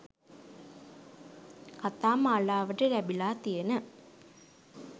කතා මාලාවට ලැබිලා තියන